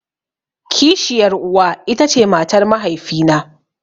Kishiyar uwa ita ce matar mahaifi na.